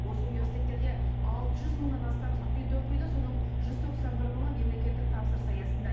осы университеттерде алты жүз мыңнан астам студент оқиды соның жүз тоқсан бір мыңы мемлекеттік тапсырыс аясында